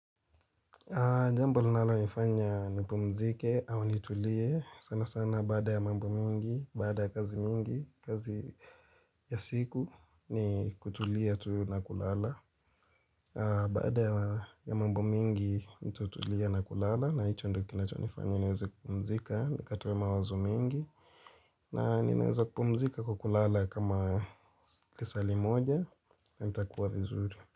Jambo lina lo nifanya ni pumzike au nitulie sana sana baada ya mambo mingi, baada ya kazi mingi, kazi ya siku ni kutulia tu na kulala Baada ya mambo mingi nitatulia na kulala na hicho ndicho kinacho nifanya niweze kupumzika wakati wa mawazo mengi na ninaweza kupumzika kwa kukulala kama tisali moja na nitakuwa vizuri.